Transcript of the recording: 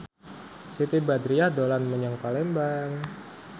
Siti Badriah dolan menyang Palembang